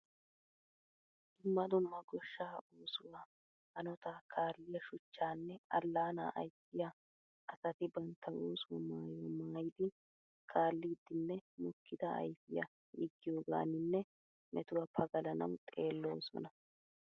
Dumma dumma goshshaa oosuwaa hanotta kaaliyaa shuchchanne allaana ayssiyaa asati bantta oosuwaa maayuwaa maayiidi kaalidinne mokkida ayfiyaa yiigiyoganinne metuwaa pagalanawu xeeloosona.